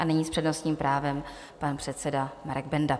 A nyní s přednostním právem pan předseda Marek Benda.